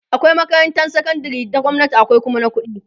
akwai makarantan sakandari ta gwamnati akwai Kuma na ƙuɗi